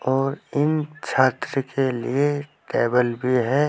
और इन छात्र के लिए टेबल भी है।